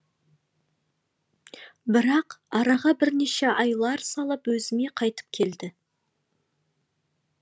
бірақ араға бірнеше айлар салып өзіме қайтып келді